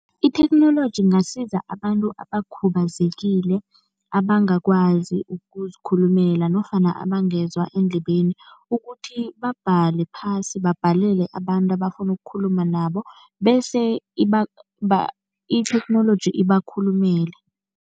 Itheknoloji ingasiza abantu abakhubazekile abangakwazi ukuzikhulumela nofana abangezwa endlebeni ukuthi babhale phasi, babhalele abantu abafuna ukukhuluma nabo bese itheknoloji ibakhulumele.